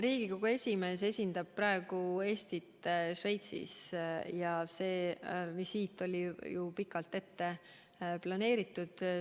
Riigikogu esimees esindab praegu Eestit Šveitsis ja see visiit oli pikalt ette planeeritud.